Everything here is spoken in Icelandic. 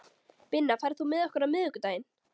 Binna, ferð þú með okkur á miðvikudaginn?